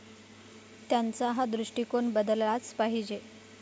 त्यांचा हा दृष्टीकोन बदललाच पाहिजे.